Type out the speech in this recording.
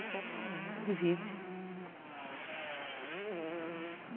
Então, ela divide.